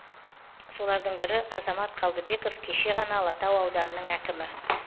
солардың бірі азамат қалдыбеков кеше ғана алатау ауданының әкімі